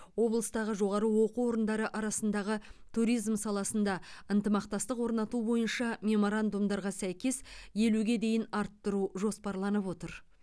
облыстағы жоғары оқу орындары арасындағы туризм саласында ынтымақтастық орнату бойынша меморандумдарға сәйкес елуге дейін арттыру жоспарланып отыр